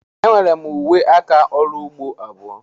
Enwere m uwe aka ọrụ ugbo abụọ.